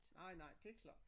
Nej nej det klart